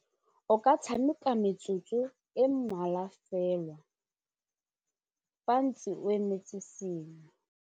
O ka tshameka metsotso e mmalwa fela fa ntse o emetse sengwe.